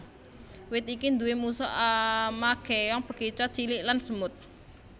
Wit iki nduwé musuh ama kèong bekicot cilik lan semut